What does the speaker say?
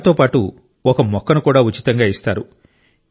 వాటితో పాటు ఒక మొక్కను కూడా ఉచితంగా ఇస్తారు